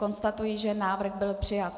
Konstatuji, že návrh byl přijat.